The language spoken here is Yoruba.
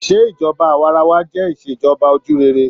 Se ìṣèjọba awaarawa jẹ Ìṣèjọba ojúrere?